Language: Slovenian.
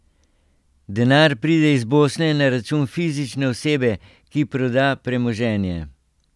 Denar pride iz Bosne na račun fizične osebe, ki proda premoženje.